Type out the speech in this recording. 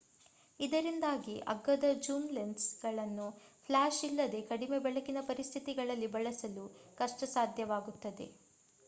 ಇದರಿಂದಾಗಿ ಅಗ್ಗದ zoom lens ಗಳನ್ನು ಫ್ಲಾಶ್ ಇಲ್ಲದೆ ಕಡಿಮೆ-ಬೆಳಕಿನ ಪರಿಸ್ಥಿತಿಗಳಲ್ಲಿ ಬಳಸಲು ಕಷ್ಟಸಾಧ್ಯವಾಗುತ್ತದೆ